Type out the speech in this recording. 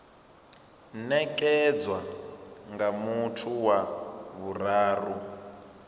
nekedzwa nga muthu wa vhuraru